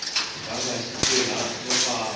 nganga yi tirha no femba